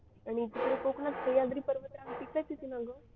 आणि तिकडे कोकणात सह्याद्री पर्वतरा तिकडेच येते ना ग